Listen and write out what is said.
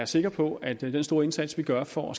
sikker på at den store indsats vi gør for